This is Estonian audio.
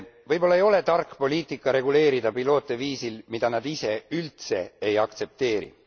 Võib olla ei ole tark poliitika reguleerida piloote viisil, mida nad ise üldse ei aktsepteeri.